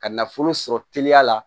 Ka nafolo sɔrɔ teliya la